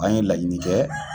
An ye laɲini kɛ.